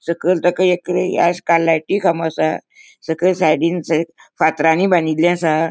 सकयल ताका एक लायटी खामो असा सकयल साइडीन थंय फातरानी बांदिल्ले असा.